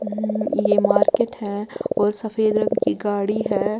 यह मार्केट है और सफेद रंग की गाड़ी है।